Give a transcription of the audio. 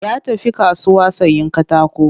Ya tafi kasuwa sayen katako